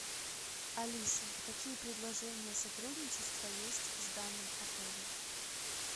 алиса какие предложения сотрудничества есть с данным отелем